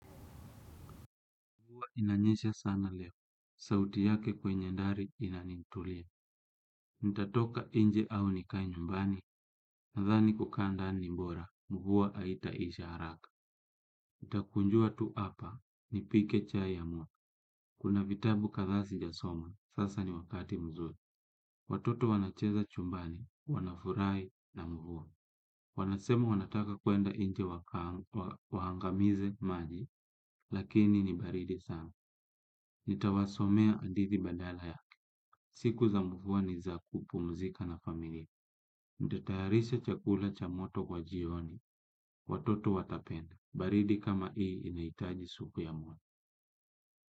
Mvua inanyesha sana leo, sauti yake kwenye ndari inanitulia. Nitatoka nje au nikae nyumbani nathani kukaa ndani ni bora mvua haitaisha haraka nitakunjua tu apa, nipike chai yamua. Kuna vitabu kathaa si jasoma, sasa ni wakati mzuri. Watoto wanacheza chumbani, wanafurai na mvua. Wanasema wanataka kwenda inje wahangamize maji, lakini nibaridi sana. Nitawasomea hadithi badala yake. Siku za mvua ni za kupu mzika na familie. Nitatayarisha chakula cha moto kwa jioni. Watoto watapenda. Baridi kama ii inaitaji supu ya mwe.